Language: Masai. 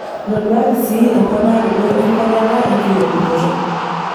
Etoduaki sii emponaroto enkuatata enkilepunoto.